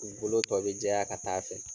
U bolo tɔ be jɛya ka taa fɛ.